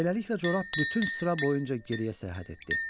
Beləliklə corab bütün sıra boyunca geriyə səyahət etdi.